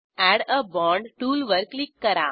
add a bond टूलवर click करा